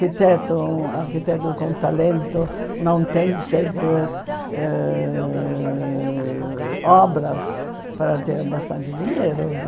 um arquiteto com talento não tem sempre eh obras para ter bastante dinheiro.